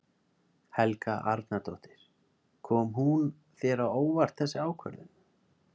Helga Arnardóttir: Kom hún þér á óvart þessi ákvörðun?